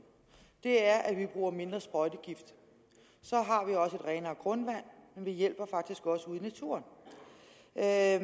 er at vi bruger mindre sprøjtegift så har vi også et renere grundvand og vi hjælper faktisk også ude i naturen et af